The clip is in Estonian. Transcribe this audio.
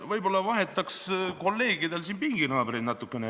Võib-olla vahetaks kolleegidel siin pinginaabreid natukene.